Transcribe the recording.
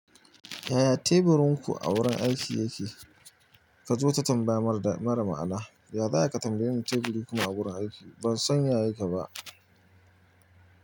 Yaya teburin ku a wurin aiki yake? Kaji wata tambayar mara da- mara ma'ana. Ya za ai ka tambaye ni teburi kuma a wurin aiki? Ban san ya yake ba.